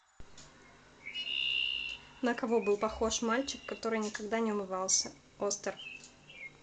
на кого был похож мальчик который никогда не умывался остер